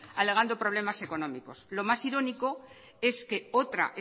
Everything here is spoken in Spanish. alegando problemas económicos lo más irónico es que otra